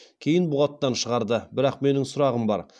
кейін бұғаттан шығарды бірақ менің сұрағым бар